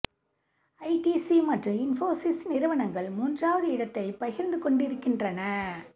ITC மற்றும் இன்ஃபோசிஸ் நிறுவனங்கள் மூன்றாவது இடத்தை பகிர்ந்து கொண்டிருக்கின்றன